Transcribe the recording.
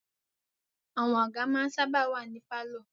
Àwọn àga ma ń sáábà wà ní pálọ̀.